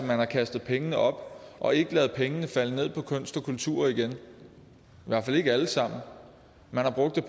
har kastet pengene op og ikke ladet pengene falde ned på kunst og kultur igen i hvert fald ikke alle sammen man har brugt